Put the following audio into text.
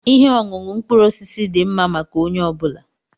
Ihe ọṅụṅụ mkpụrụ osisi dị mma maka onye ọ bụla.